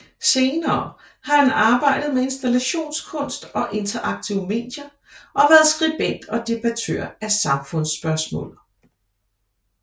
Senere har han arbejdet med installationskunst og interaktive medier og været skribent og debattør af samfunds spørgsmål